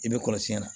I bɛ kɔlɔsi na